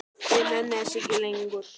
Ég nenni þessu ekki lengur.